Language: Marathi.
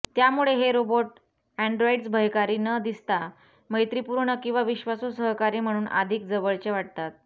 त्यामुळे हे रोबोट अँड्रॉइडस् भयकारी न दिसता मैत्रीपूर्ण आणि विश्वासू सहकारी म्हणून अधिक जवळचे वाटतात